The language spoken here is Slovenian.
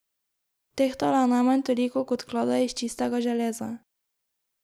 Tehtala je najmanj toliko kot klada iz čistega železa.